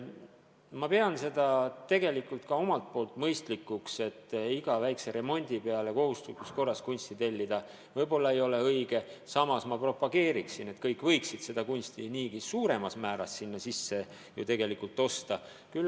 Ma pean seda tegelikult ka ise mõistlikuks, et iga väikse remondi peale kohustuslikus korras kunsti tellida võib-olla ei ole õige lahendus, samas propageerin, et kõik võiksid kunsti niigi rohkem osta.